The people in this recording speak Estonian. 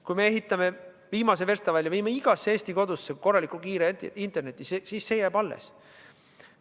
Kui ehitame viimase versta välja, viime igasse Eesti kodusse korraliku kiire interneti, siis see jääb alles.